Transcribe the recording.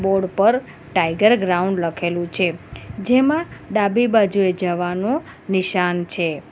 Board પર tiger ground લખેલું છે જેમાં ડાબી બાજુએ જવાનું નિશાન છે.